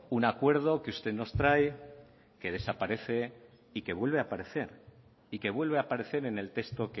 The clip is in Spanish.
un acuerdo que usted nos trae que desaparece y que vuelve a aparecer y que vuelve a aparecer en el texto